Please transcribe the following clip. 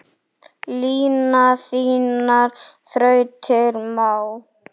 Lina þínar þrautir má.